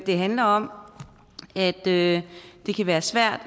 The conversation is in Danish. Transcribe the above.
det handler om at det kan være svært